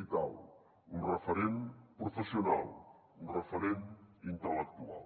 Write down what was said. vital un referent professional un referent intel·lectual